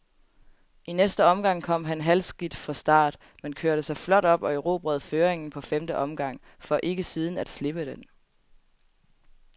I næste omgang kom han halvskidt fra start, men kørte sig flot op og erobrede føringen på femte omgang, for ikke siden at slippe den.